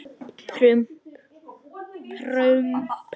Ég lét það eftir henni.